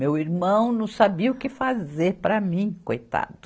Meu irmão não sabia o que fazer para mim, coitado.